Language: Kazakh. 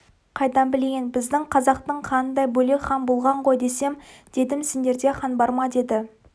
қайдан білейін біздің қазақтың ханындай бөлек хан болған ғой десем дедім сендерде хан бар ма деді